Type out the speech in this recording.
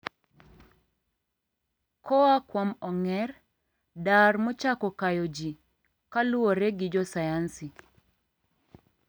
koa kuom ong'er "dar" mochako kayo ji, kaluore gi josayansi.